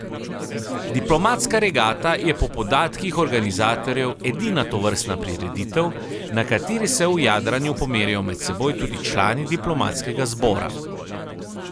Diplomatska regata je po podatkih organizatorjev edina tovrstna prireditev, na kateri se v jadranju pomerijo med seboj tudi člani diplomatskega zbora.